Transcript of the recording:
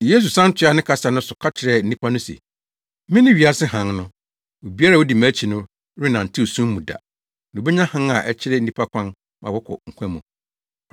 Yesu san toaa ne kasa no so ka kyerɛɛ nnipa no se, “Mene wiase hann no. Obiara a odi mʼakyi no rennantew sum mu da, na obenya hann a ɛkyerɛ nnipa kwan ma wɔkɔ nkwa mu.”